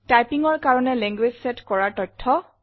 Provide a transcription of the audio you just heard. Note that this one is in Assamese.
Typingৰ কাৰণে লেংগুৱেজ চেট কৰাৰ তথ্য